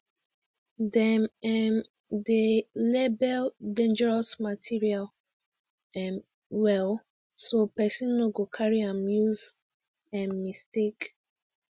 dem um dey label dangerous material um well so person no go carry am use um mistake